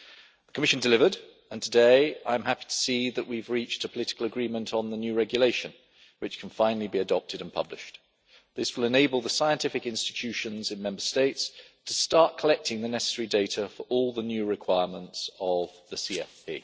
The Commission delivered, and today I am happy to see that we have reached a political agreement on the new regulation, which can finally be adopted and published. This will enable the scientific institutions in Member States to start collecting the necessary data for all the new requirements of the CFP.